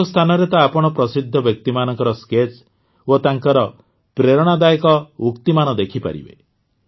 କେତେକ ସ୍ଥାନରେ ତ ଆପଣ ପ୍ରସିଦ୍ଧ ବ୍ୟକ୍ତିମାନଙ୍କର ସ୍କେଚ୍ ଓ ତାଙ୍କର ପ୍ରେରଣାଦାୟକ ଉକ୍ତିମାନ ଦେଖିପାରିବେ